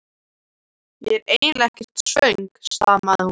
Ég er eiginlega ekkert svöng stamaði hún.